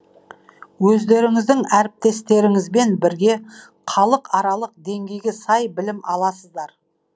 өздеріңіздің әріптестеріңізбен бірге халықаралық деңгейге сай білім аласыздар